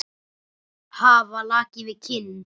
Hafa lakið við kinn.